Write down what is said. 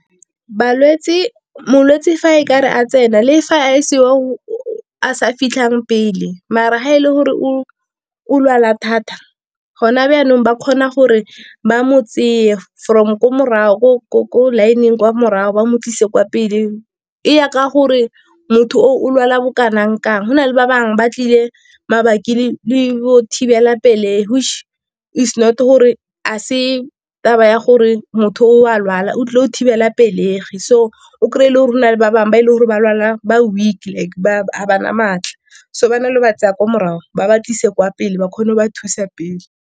Balwetsi, molwetsi fa e ka re a tsena le fa a e se o sa fitlhang pele, mara ga e le gore o o lwala thata gona byanong ba kgona gore ba mo from ko morago ko line-ng kwa morago ba mo tlise kwa pele e ya ka gore motho o lwala bo kanang kang. Gona le ba bangwe ba tlile mapapi le go thibela pelegi, which is not gore a se taba ya gore motho o a lwala o tlile go thibela pelegi. So o krey-e e le gore go na le ba bangwe ba e leng gore ba lwala ba weak like ga ba na matla, so ba na le ba tsaya kwa morago ba ba tlise kwa pele ba kgone go ba thusa pele.